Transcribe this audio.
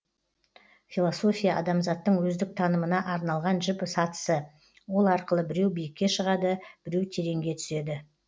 философия адамзаттың өздік танымына арналған жіп сатысы ол арқылы біреу биікке шығады біреу тереңге түседі